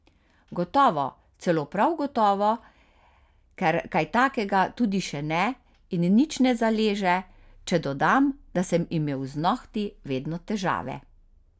Gotovo, celo prav gotovo, ker kaj takega tudi še ne in nič ne zaleže, če dodam, da sem imel z nohti vedno težave.